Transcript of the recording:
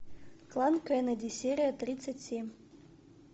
клан кеннеди серия тридцать семь